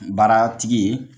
Baara tigi ye